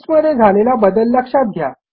text मध्ये झालेला बदल लक्षात घ्या